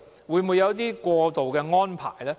會否有一些過渡安排？